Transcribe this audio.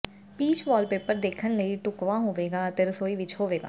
peach wallpaper ਦੇਖਣ ਲਈ ਢੁਕਵਾਂ ਹੋਵੇਗਾ ਅਤੇ ਰਸੋਈ ਵਿਚ ਹੋਵੇਗਾ